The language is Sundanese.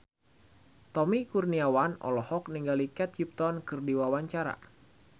Tommy Kurniawan olohok ningali Kate Upton keur diwawancara